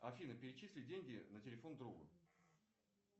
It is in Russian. афина перечисли деньги на телефон другу